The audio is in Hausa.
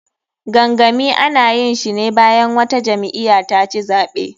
Gangami, ana yinshine bayan wata jam'iya taci zaɓe.